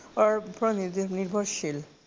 ওপৰত নিৰ্ভৰশীল